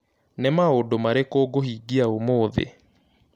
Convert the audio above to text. Nĩ maũndũ marĩkũ ngũhingia ũmũthĩ